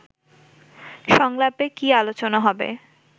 সংলাপে কী আলোচনা হবে